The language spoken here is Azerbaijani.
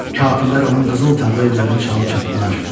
Kafirlər onun qızıl tağlı evlərini çalıb çapdılar.